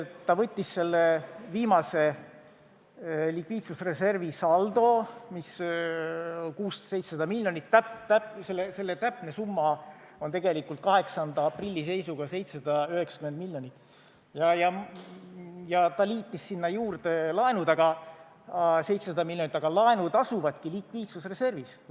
Ta võttis selle viimase likviidsusreservi saldo, mis on 600–700 miljonit – selle täpne summa on 8. aprilli seisuga tegelikult 790 miljonit –, ja liitis sinna juurde laenud 700 miljonit, aga laenud asuvadki likviidsusreservis.